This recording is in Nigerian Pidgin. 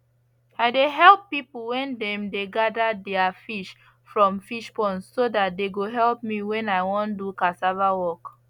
i dey help people when dem dey gather their fish from fish pond so that they go help me when i wan do cassava work